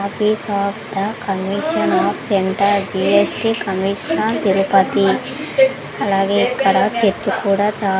office of the commission of centre GST commissioner Tirupati అలాగే ఇక్కడ చెట్లు కూడా చా--